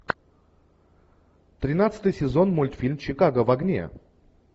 тринадцатый сезон мультфильма чикаго в огне